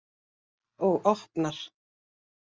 Og opnar.